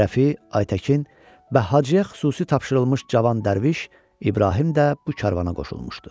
Rəfi, Aytəkin, Hacıya xüsusi tapşırılmış cavan dərviş, İbrahim də bu karvana qoşulmuşdu.